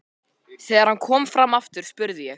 Þegar hann kom fram aftur spurði ég